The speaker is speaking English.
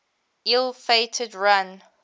ill fated run